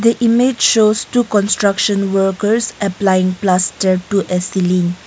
the image shows two construction workers applying plastered to ceiling.